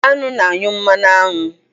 Aṅụ na-anyụ mmanụ aṅụ.